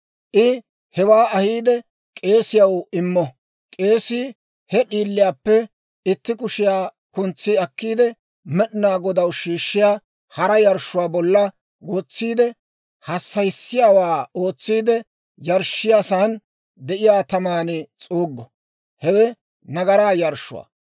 I hewaa ahiide k'eesiyaw immo; k'eesii he d'iiliyaappe itti kushiyaa kuntsi akkiide, Med'inaa Godaw shiishshiyaa hara yarshshuwaa bolla wotsiide, hassayissiyaawaa ootsiide yarshshiyaasan de'iyaa taman s'uuggo; hewe nagaraa yarshshuwaa.